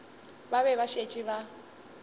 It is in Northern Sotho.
ba be ba šetše ba